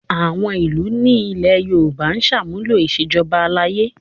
Àwọn ìlú ní ilẹ̀ Yorùbá ń ṣàmúlò ìṣèjọba aládé